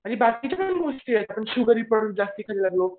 आणि बाकीच्या काही गोष्टी आहेत